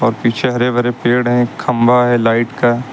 पीछे हरे भरे पेड़ हैं खंभा है लाइट का--